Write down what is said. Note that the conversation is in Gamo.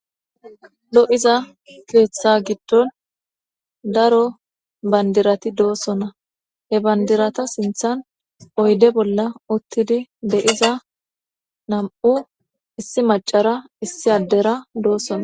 Lo7iza keeththa giddon daro bandirati doossona he bandirata sinthan oyde bolla ottidi de iza nam7u issi macara issi addera doosona.